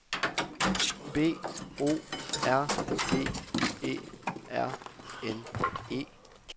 B O R G E R N E